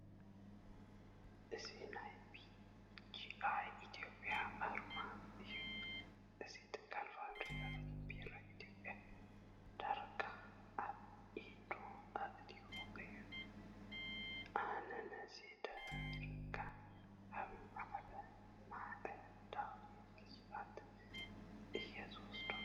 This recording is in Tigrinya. እዚ ናይ ቢጂኣይ ኢትዮጵያ ኣርማ እዩ፡፡ እዚ ትካል ናፋብሪካታት ቢራ ኢትዮጵያ ዳርጋ ኣብ ኢዱ ኣእትይዎን እዩ፡፡ ኣነ ነዚ ዳርጋ ከም ባዕዳዊ ግዝኣት እየ ዝወስዶ፡፡